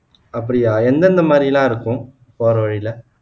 அப்படியா எந்தெந்த மாதிரியெல்லாம் இருக்கும் போற வழில